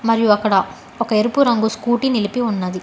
మరియు అక్కడ ఒక ఎరుపు రంగు స్కూటీ నిలిపి ఉన్నది.